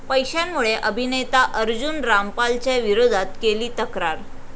पैशांमुळे अभिनेता अर्जुन रामपालच्या विरोधात केली तक्रार